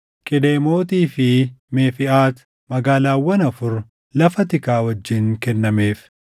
Qidemootii fi Meefiʼaat, magaalaawwan afur lafa tikaa wajjin kennameef;